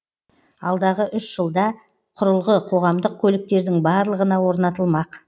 алдағы үш жылда құрылғы қоғамдық көліктердің барлығына орнатылмақ